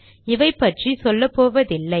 இவைபற்றி சொல்லப்போவதில்லை